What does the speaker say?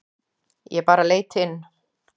Ég bara leit inn.